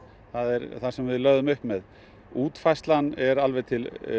það er það sem við lögðum upp með útfærslan er alveg til